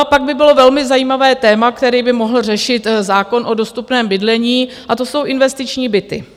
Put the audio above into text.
A pak by bylo velmi zajímavé téma, které by mohl řešit zákon o dostupném bydlení, a to jsou investiční byty.